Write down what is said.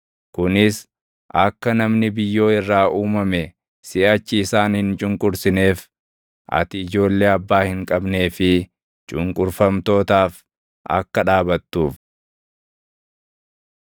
kunis akka namni biyyoo irraa uumame siʼachi isaan hin cunqursineef ati ijoollee abbaa hin qabnee fi cunqurfamtootaaf akka dhaabattuuf.